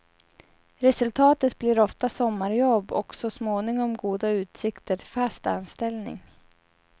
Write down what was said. Resultatet blir ofta sommarjobb och så småningom goda utsikter till fast anställning.